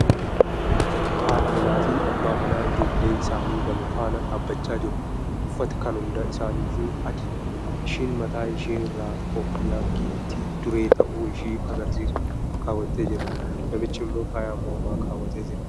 Haadha manaa fi abbaa manaa ijoollee isaanii lama faana dhaabachaa jiru. Uffati kan hunda isaaniyyu adiidha. Isheen mataa ishee irraa koofiyyaa giiftii duree ta'uu ishee agarsiisu kaawwattee jirti. Namichi immoo faaya mormaa kaawwatee jira.